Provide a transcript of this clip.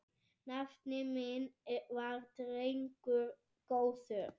Nafni minn var drengur góður.